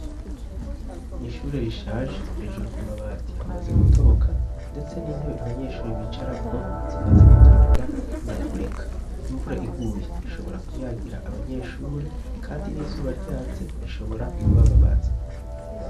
nishure rishaje hejuru ku mabati hamaze gutoboka ndetse n'intebe abanyeshure bicarako zimaze gutangura kuvunagurika imvura iguye ishobora kunyagira abanyeshure kandi n'izuba ryatse rishobora kubababaza